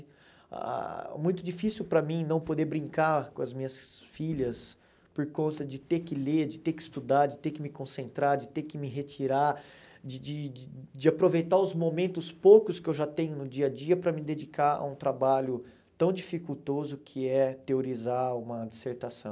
Ah muito difícil para mim não poder brincar com as minhas filhas por conta de ter que ler, de ter que estudar, de ter que me concentrar, de ter que me retirar, de de de aproveitar os momentos poucos que eu já tenho no dia a dia para me dedicar a um trabalho tão dificultoso que é teorizar uma dissertação.